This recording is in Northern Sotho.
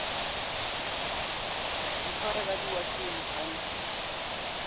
ntshwara ka diwatšhene a nkiša